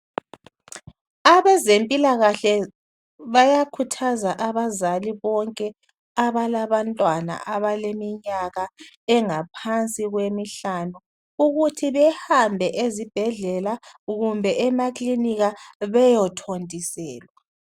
Abezempilakahle bayakhuthaza abazali bonke abalabantwana abaleminyaka engaphansi kwemihlanu ukuthi behambe ezibhedlela kumbe emakilinika beye thontiselwa.